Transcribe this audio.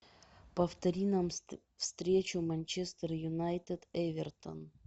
повтори нам встречу манчестер юнайтед эвертон